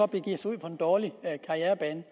begiver sig ud på en dårlig karrierebane